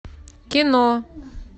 кино